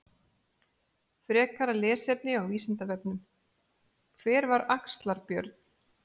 Frekara lesefni á Vísindavefnum: Hver var Axlar-Björn?